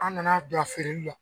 An nana don a feereli la.